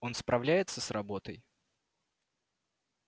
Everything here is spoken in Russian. он справляется с работой